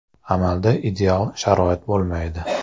Amalda ideal sharoit bo‘lmaydi.